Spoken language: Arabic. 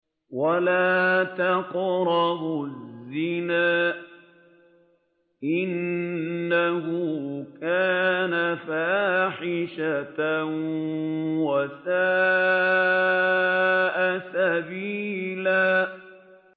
وَلَا تَقْرَبُوا الزِّنَا ۖ إِنَّهُ كَانَ فَاحِشَةً وَسَاءَ سَبِيلًا